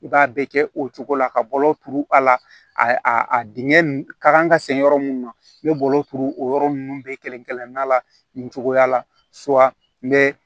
I b'a bɛɛ kɛ o cogo la ka bɔlɔlɔ turu a la a a dingɛ ka kan ka sen yɔrɔ mun na n'i bɛ bɔlɔ turu o yɔrɔ ninnu bɛɛ kelen kelenna la nin cogoya la n bɛ